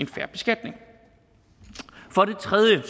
fair beskatning for det tredje